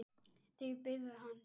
Þið byggðuð hann sjálf.